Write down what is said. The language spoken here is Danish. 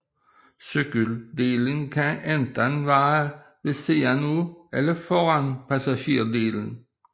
Cykeldelen kan enten være ved siden af eller foran passagerdelen